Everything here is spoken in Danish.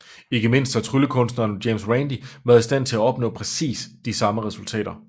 Ikke mindst har tryllekunstneren James Randi været i stand til at opnå præcis de samme resultater